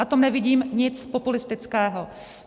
Na tom nevidím nic populistického.